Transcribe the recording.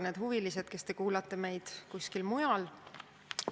Head huvilised, kes te kuulate meid kusagil mujal!